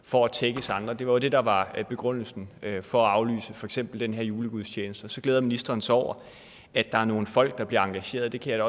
for at tækkes andre det var det der var begrundelsen for at aflyse for eksempel den julegudstjeneste og så glæder ministeren sig over at der er nogle folk der bliver engageret det kan jeg